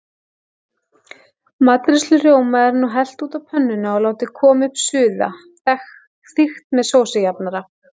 Matreiðslurjóma er nú hellt út á pönnuna og látin koma upp suða, þykkt með sósujafnara.